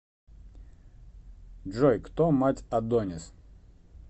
джой кто мать адонис